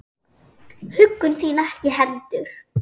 Huggun þín ekki heldur.